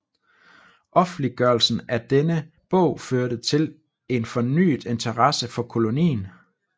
Offentliggørelsen af denne bog førte til en fornyet interesse for kolonien